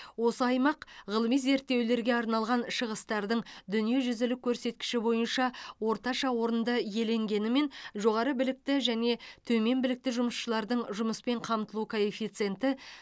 осы аймақ ғылыми зерттеулерге арналған шығыстардың дүниежүзілік көрсеткіші бойынша орташа орынды иеленгенімен жоғары білікті және төмен білікті жұмысшылардың жұмыспен қамтылу коэффициенті